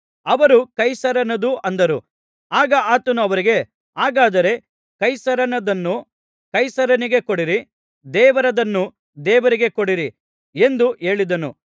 ಅವರು ಕೈಸರನದು ಅಂದರು ಆಗ ಆತನು ಅವರಿಗೆ ಹಾಗಾದರೆ ಕೈಸರನದನ್ನು ಕೈಸರನಿಗೆ ಕೊಡಿರಿ ದೇವರದನ್ನು ದೇವರಿಗೆ ಕೊಡಿರಿ ಎಂದು ಹೇಳಿದನು